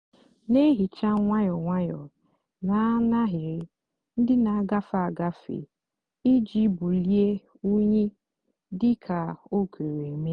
nà-èhicha nwayọọ nwayọọ nà n'áhịrị ndị nà-àgafe agafe íjì bulie unyi dị kà ó kwere mée.